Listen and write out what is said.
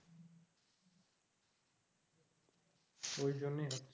ঐজন্যই হচ্ছে